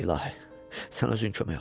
İlahi, sən özün kömək ol.